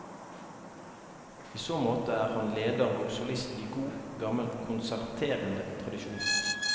I så måte er han leder og solist i god, gammel konserterende tradisjon.